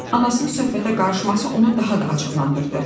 Anasının söhbətə qarışması onu daha da acıqlandırdı.